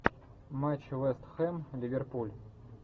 матч вест хэм ливерпуль